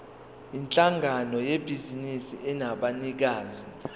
yinhlangano yebhizinisi enabanikazi